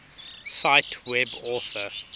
cite web author